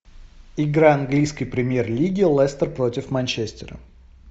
игра английской премьер лиги лестер против манчестера